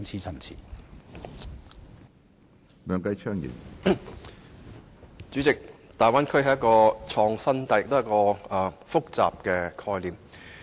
主席，大灣區是一種既創新又複雜的概念。